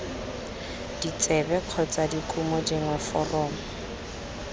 ditsebe kgotsa dikumo dingwe foromo